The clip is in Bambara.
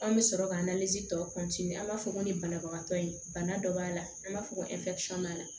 An bɛ sɔrɔ ka tɔ an b'a fɔ ko ni banabagatɔ ye bana dɔ b'a la an b'a fɔ ko b'a la